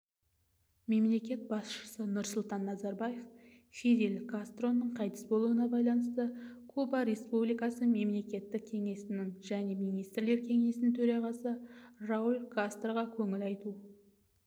мемлекет басшысы нұрсұлтан назарбаев фидель кастроның қайтыс болуына байланысты куба республикасы мемлекеттік кеңесінің және министрлер кеңесінің төрағасы рауль кастроға көңіл айту